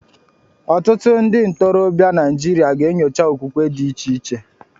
Ọtụtụ ndị ntorobịa Naijiria ga-enyocha okwukwe dị iche iche.